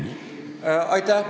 Aitäh!